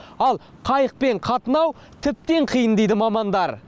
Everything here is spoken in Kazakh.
ал қайықпен қатынау тіптен қиын дейді мамандар